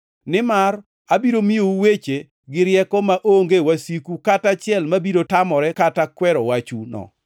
Nimar abiro miyou weche gi rieko maonge wasiku kata achiel ma biro tamore kata kwero wachuno.